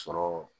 Sɔrɔ